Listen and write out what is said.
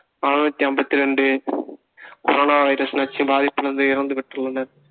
அறுநூத்தி ஐம்பத்தி ரெண்டு corona வைரஸ் நச்சு பாதிப்பிலிருந்து இறந்து விட்டுள்ளனர்